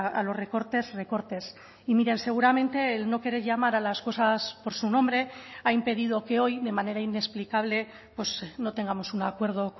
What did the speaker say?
a los recortes recortes y miren seguramente el no querer llamar a las cosas por su nombre ha impedido que hoy de manera inexplicable no tengamos un acuerdo